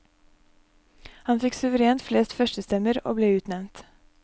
Han fikk suverent flest førstestemmer, og ble utnevnt.